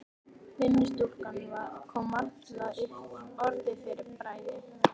Vinnustúlkan kom varla upp orði fyrir bræði.